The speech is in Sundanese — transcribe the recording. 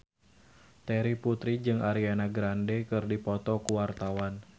Terry Putri jeung Ariana Grande keur dipoto ku wartawan